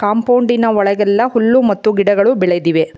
ಕಂಪೌಂಡಿನ ಒಳಗೆಲ್ಲ ಹುಲ್ಲು ಮತ್ತು ಗಿಡಗಳು ಬೆಳೆದಿವೆ.